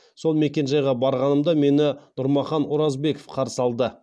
сол мекенжайға барғанымда мені нұрмахан оразбеков қарсы алды